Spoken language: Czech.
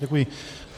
Děkuji.